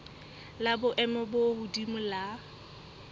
la boemo bo hodimo la